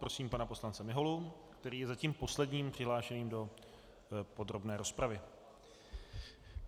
Prosím pana poslance Miholu, který je zatím posledním přihlášeným do podrobné rozpravy.